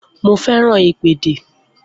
Mo fẹ́ràn ìpèdè